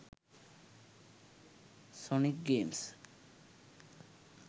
sonic games